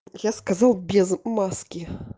я сказал без маски